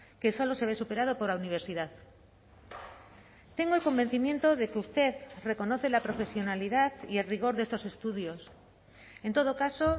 que solo se ve superado por la universidad tengo el convencimiento de que usted reconoce la profesionalidad y el rigor de estos estudios en todo caso